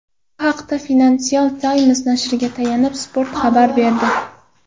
Bu haqda Financial Times nashriga tayanib, Spot xabar berdi .